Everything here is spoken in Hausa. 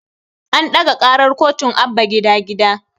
An ɗaga ƙarar kotun Abba gida gida